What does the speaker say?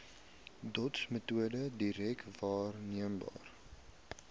dotsmetode direk waarneembare